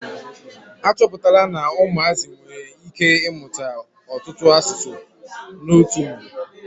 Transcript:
Achọpụtala na ụmụazị nwere ike ị mụta ọtụtụ asụsụ n'otu mgbe.